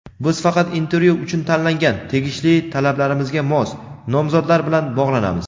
biz faqat intervyu uchun tanlangan (tegishli talablarimizga mos) nomzodlar bilan bog‘lanamiz.